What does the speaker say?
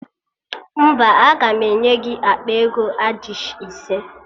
Mba, aga m enye gị akpa ego adishị ise